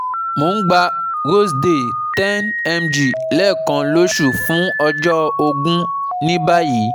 Mo ń gba Roseday 10 mg lẹ́ẹkan lóṣù fún ọjọ́ ógún ní báyìí